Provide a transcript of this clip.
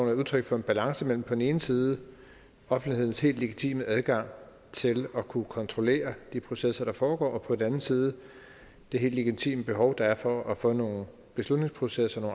jo udtryk for en balance mellem på den ene side offentlighedens helt legitime adgang til at kunne kontrollere de processer der foregår og på den anden side det helt legitime behov der er for at få nogle beslutningsprocesser og